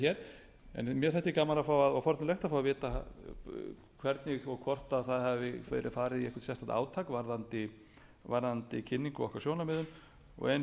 hér en mér þætti gaman og forvitnilegt að fá að vita það hvernig og hvort hafi verið farið í eitthvað sérstakt átak varðandi kynningu á okkar sjónarmiðum og eins